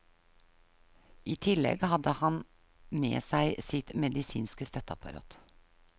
I tillegg hadde han med seg sitt medisinske støtteapparat.